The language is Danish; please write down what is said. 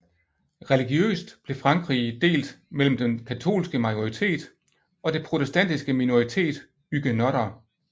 Religiøst blev Frankrige delt mellem den katolske majoritet og det protestantiske minoritet huguenotter